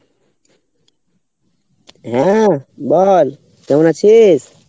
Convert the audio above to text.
হ্যাঁ বল কেমন আছিস?